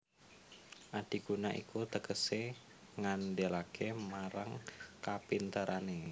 Adiguna iku tegesé ngandelaké marang kapinterané